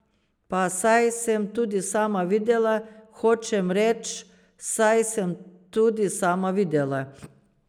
Pa saj sem tudi sama videla, hočem reč, saj sem tudi sama videla!